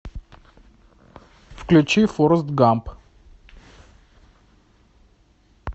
включи форрест гамп